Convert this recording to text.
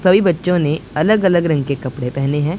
सभी बच्चों ने अलग अलग रंग के कपड़े पहने हैं।